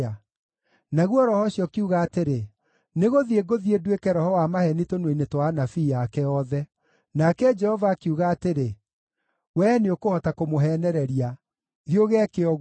“Naguo roho ũcio ũkiuga atĩrĩ, ‘Nĩgũthiĩ ngũthiĩ nduĩke roho wa maheeni tũnua-inĩ twa anabii ake othe.’ “Nake Jehova akiuga atĩrĩ, ‘Wee nĩũkũhota kũmũheenereria. Thiĩ ũgeeke ũguo.’